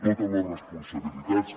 totes les responsabilitats